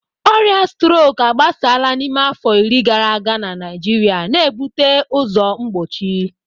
Ọrịa strok agbasala n'ime afọ iri gara aga na Naịjirịa, na-ebute ụzọ mgbochi.